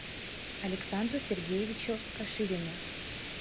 александру сергеевичу каширину